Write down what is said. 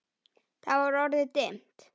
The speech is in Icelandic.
Það var orðið dimmt.